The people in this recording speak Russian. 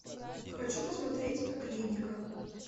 хочу посмотреть клиника